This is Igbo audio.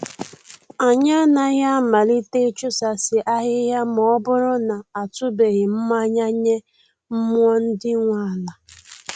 Anyị anaghị amalite ịsụchasị ahịhịa ma ọ bụrụ na a tụbeghị mmayị nye mmụọ ndị nwe ala